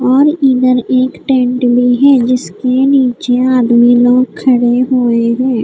और इधर एक टेंट भी है जिसके नीचे आदमी लोग खड़े हुए हैं।